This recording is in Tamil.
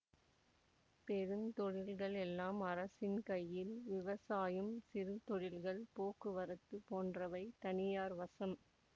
பெருந்தொழில்கள் எல்லாம் அரசின் கையில் விவசாயம் சிறுதொழில்கள் போக்குவரத்து போன்றவை தனியார் வசம்